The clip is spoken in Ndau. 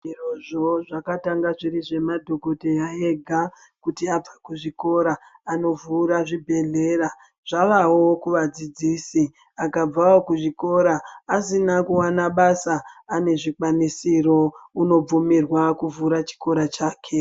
Zvirozvo zvakatanga zviri zvemadhokodheya ega kuti abva kuzvikora anovhura zvibhehlera. Zvavawo kuvadzidzisi akabvawo kuzvikora asina kuwana basa ane zvikwanisiro unobvumirwa kuvhura chikora chake.